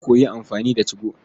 Na koyi amfani da 2go.